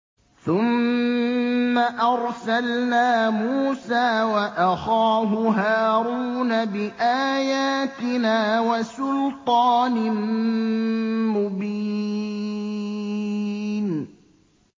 ثُمَّ أَرْسَلْنَا مُوسَىٰ وَأَخَاهُ هَارُونَ بِآيَاتِنَا وَسُلْطَانٍ مُّبِينٍ